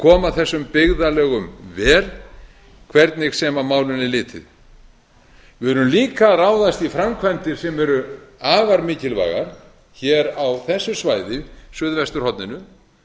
koma þessum byggðarlögum vel hvernig sem á málin er litið við erum líka að ráðast í framkvæmdir sem eru afar mikilvægar á þessu svæði suðvesturhorninu